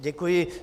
Děkuji.